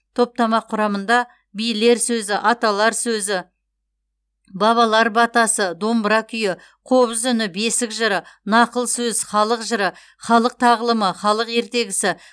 топтама құрамында билер сөзі аталар сөзі бабалар батасы домбыра күйі қобыз үні бесік жыры нақыл сөз халық жыры халық тағылымы халық ертегісі